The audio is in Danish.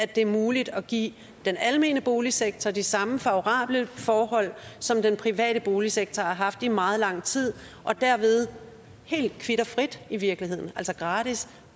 det er muligt at give den almene boligsektor de samme favorable forhold som den private boligsektor har haft i meget lang tid og derved helt kvit og frit i virkeligheden altså gratis